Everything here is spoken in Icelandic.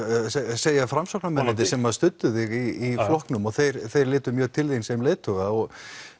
segja Framsóknarmennirnir sem að studdu þig í flokknum og þeir þeir litu mjög til þín sem leiðtoga og